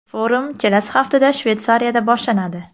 Forum kelasi haftada Shveysariyada boshlanadi.